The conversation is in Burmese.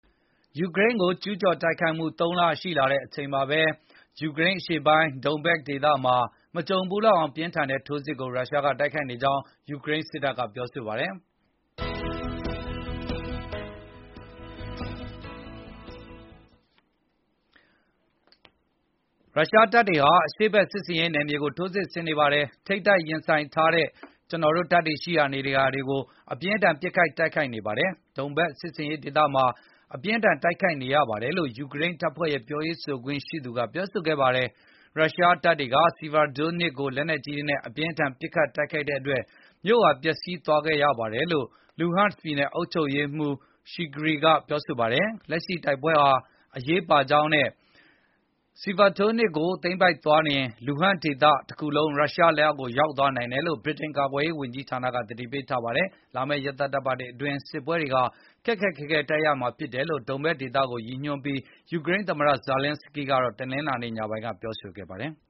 ယူကရိန်းကို ကျူးကျော်တိုက်ခိုက်မှုတွေ ၃ လ ရှိလာချိန်မှာပဲ ယူကရိန်းအရှေ့ပိုင်း Donbas ဒေသမှာ မကြံဖူးလောက်အောင် အပြင်းအထန်ထိုးစစ်ဆင် တိုက်ခိုက်နေကြောင်း ယူကရိန်းစစ်တပ်က ပြောပါတယ်။ “ရုရှားတပ်တွေဟာ အရှေဖက်စစ်ဆင်ရေးနယ်မြေကု ိထိုးစစ်ဆင်နေပါတယ်။ ထိပ်တိုက် ရင်ဆိုင်ထားတဲ့ ကျနော်တို့ တပ်တွေ ရှိရာနေရာတွေကို အပြင်းအထန်ပစ်ခတ်တိုက်ခိုက် နေပါတယ်။ Donbas စစ်ဆင်ရေးဒေသမှာ အပြင်းအထန် တိုက်ခိုက်ခံနေရပါတယ်။” လို့ ယူကရိန်းတပ်ဖွဲရဲ့ပြောရေးဆိုခွင့်ရှိသူ Oleksandr Shtupun ကပြောဆိုသွားတာပါ။ ရုရှားတပ်တွေက Sievierodonestsk ကိုလက်နက်ကြီးတွေနဲ့ အပြင်းအထန် ပစ်ခတ်တဲ့ အတွက် မြို့ဟာ ပျက်စီးသွားခဲ့ရပါတယ်လို့ လူဟန့်စ် ပြည်နယ်အုပ်ချုပ်ရေးမှူး Serhiy Gaidai ကပြောပါတယ်။ လက်ရှိ ဒီတိုက်ပွဲဟာ အရေးပါကြောင်းနဲ့ Severodonetsk ကိုရုရှားသိမ်းပိုက်သွားနိုင် ရင်၊ လူဟန့်ဒေသတခုလုံး ရုရှားလက်အောက် ရောက်သွားနိုင်တယ်လို့ ဗြိတိန်ကာကွယ် ရေးဝန်ကြီးဌာနကတော့ သတိပေးထားပါတယ်။ လာမယ့် ရက်သတ္တပတ်တွေ အတွင်း စစ်ပွဲတွေဟာ ခက်ခက်ခဲခဲ တိုက်ရမှာဖြစ်တယ်လို့ Donbas ဒေသတွင်းက စစ်ပွဲကို ရည်ညွှန်းပြီး ယူကရိန်းသမ္မတ ဇာလင်းစကီးကတော့ တနင်္လာနေ့ ညပိုင်းကပြောဆိုခဲ့ပါတယ်။